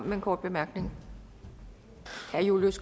med en kort bemærkning herre julius